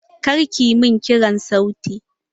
Kar ki min kirar sauti!